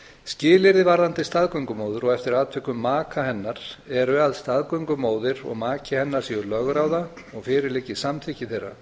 skilyrði varðandi staðgöngumóður og eftir atvikum maka hennar eru að staðgöngumóðir og maki hennar séu lögráða og fyrir liggi samþykki þeirra